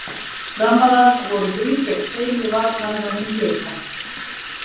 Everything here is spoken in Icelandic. Framrar voru þrír gegn tveimur varnarmönnum Blika.